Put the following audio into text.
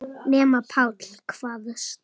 Nema Páll.